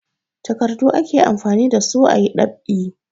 Takardu ake amfani da su a yi ɗab'i.